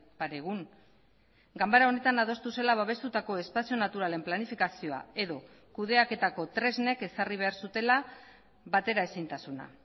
pare egun ganbara honetan adostu zela babestutako espazio naturalen planifikazioa edo kudeaketako tresnek ezarri behar zutela bateraezintasuna